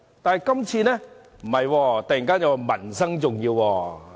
但是，今次卻突然說民生重要。